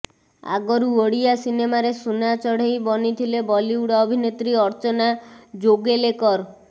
ଆଗରୁ ଓଡ଼ିଆ ସିନେମାରେ ସୁନା ଚଢ଼େଇ ବନିଥିଲେ ବଲିଉଡ ଅଭିନେତ୍ରୀ ଅର୍ଚ୍ଚନା ଜୋଗଲେକର୍